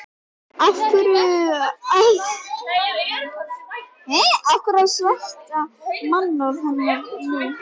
Af hverju að sverta mannorð hennar nú?